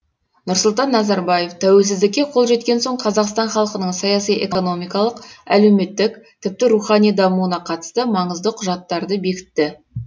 нұрсұлтан назарбаев тәуелсіздікке қол жеткен соң қазақстан халқының саяси экономикалық әлеуметтік тіпті рухани дамуына қатысты маңызды құжаттарды бекітті